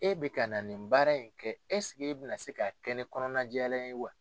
E bɛ ka na nin baara in kɛ e bɛna se ka kɛ ni kɔnɔnajɛlenya ye wa?